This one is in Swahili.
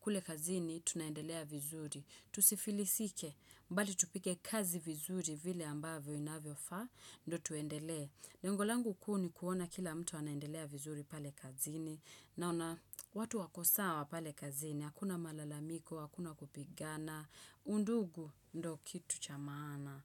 kule kazini, tunaendelea vizuri. Tusifilisike mbali tupige kazi vizuri vile ambavyo inavyofaa Ndio tuendele lengo langu kuu ni kuona kila mtu anaendelea vizuri pale kazini Naona watu wako sawa pale kazini hakuna malalamiko, hakuna kupigana undugu ndo kitu cha maana.